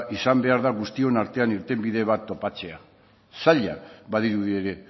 izan behar da guztion artean irtenbide bat topatzea zaila badirudi ere